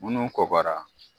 Munnu kɔkɔra.